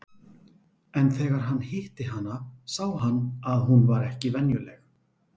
En þegar hann hitti hana sá hann að hún var ekki venjuleg.